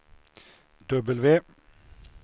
W